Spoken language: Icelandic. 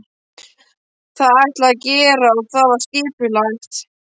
Það ætlaði ég að gera og það var skipulagt.